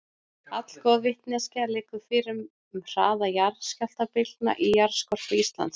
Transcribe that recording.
Allgóð vitneskja liggur fyrir um hraða jarðskjálftabylgna í jarðskorpu Íslands.